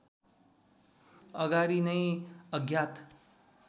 अगाडि नै अज्ञात